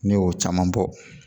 Ne y'o caman bɔ